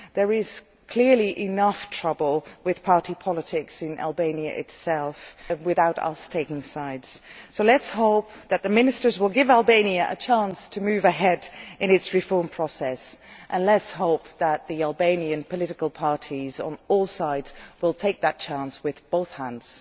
There is clearly enough trouble with party politics in Albania itself without us taking sides, so let us hope that the ministers will give Albania a chance to move ahead in its reform process, and let us hope that the Albanian political parties on all sides will take that chance with both hands.